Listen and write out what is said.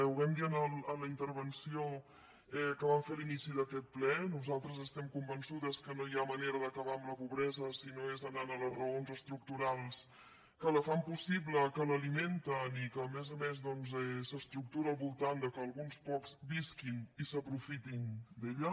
ho vam dir en la intervenció que vam fer a l’inici d’aquest ple nosaltres estem convençudes que no hi ha manera d’acabar amb la pobresa si no és anant a les raons estructurals que la fan possible que l’alimenten i que a més a més doncs s’estructura al voltant del fet que alguns pocs visquin i s’aprofitin d’ella